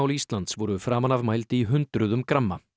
Íslands voru framan af mæld í hundruðum gramma